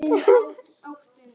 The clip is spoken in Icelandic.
Á Hrúti voru tólin sver.